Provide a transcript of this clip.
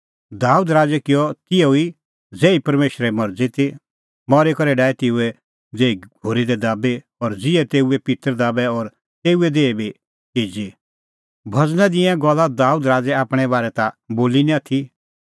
दाबेद राज़ै किअ तिहअ ई ज़ेही परमेशरे मरज़ी ती मरी करै डाही तेऊए देही घोरी दाबी और ज़िहै तेऊए पित्तर दाबै और तेऊए देही बी चिजी भज़ना दी ईंयां गल्ला दाबेद राज़ै आपणैं बारै ता बोली निं आथी